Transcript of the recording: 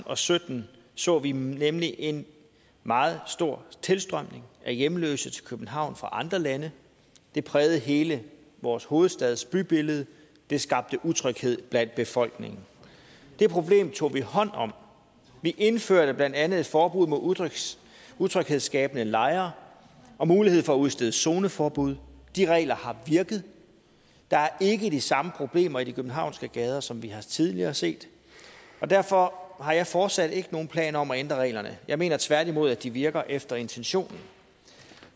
og sytten så vi nemlig en meget stor tilstrømning af hjemløse til københavn fra andre lande det prægede hele vores hovedstads bybillede og det skabte utryghed blandt befolkningen det problem tog vi hånd om vi indførte blandt andet et forbud mod utryghedsskabende lejre og mulighed for at udstede zoneforbud de regler har virket der er ikke de samme problemer i de københavnske gader som vi tidligere har set derfor har jeg fortsat ikke nogen planer om at ændre reglerne jeg mener tværtimod at de virker efter intentionen